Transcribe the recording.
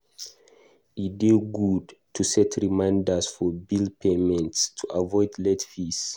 E dey good to set reminders for bill payments to avoid late fees.